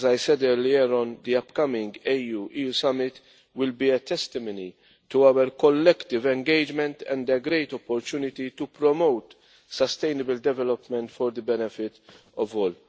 As I said earlier, the upcoming AU-EU Summit will be a testimony to our collective engagement, and a great opportunity to promote sustainable development for the benefit of all.